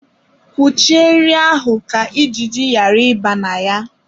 Kwụchie nri ahụ ka ijiji yara ibe na ya